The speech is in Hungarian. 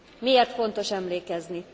Miért fontos emlékezni?